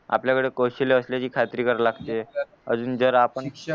आपल्याकडे कौशल्य असल्याची खात्री करायला लागते अजून जर आपण